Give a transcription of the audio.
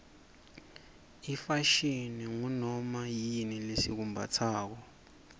ifashini ngunoma yini lesikumbatsako